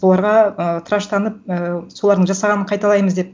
оларға ыыы тыраштанып ііі солардың жасағанын қайталаймыз деп